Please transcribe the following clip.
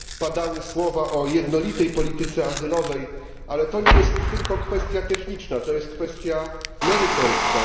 Padały słowa o jednolitej polityce azylowej, ale to nie jest tylko kwestia techniczna, to jest kwestia merytoryczna.